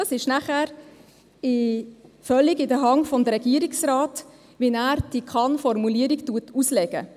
Es ist nachher völlig in der Hand des Regierungsrates, wie er diese Kann-Formulierung auslegt.